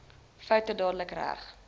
foute dadelik reg